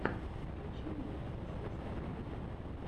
включи мне рамзесств